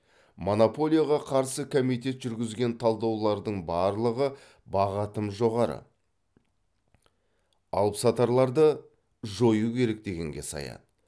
монополияға қарсы комитет жүргізген талдаулардың барлығы баға тым жоғары алыпсатарларды жою керек дегенге саяды